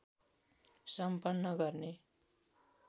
सम्पन्न गर्ने